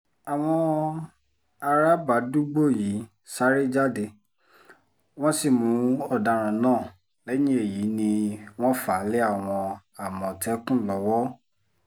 àwọn arábàdúgbò yìí sáré jáde wọ́n sì mú ọ̀daràn náà lẹ́yìn èyí ni wọ́n fà á lé àwọn àmọ̀tẹ́kùn lọ́wọ́